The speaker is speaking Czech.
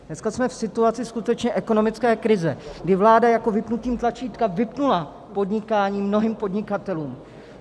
Dneska jsme v situaci skutečně ekonomické krize, kdy vláda jako vypnutím tlačítka vypnula podnikání mnohým podnikatelům.